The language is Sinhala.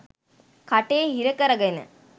කටේ හිර කර ගෙන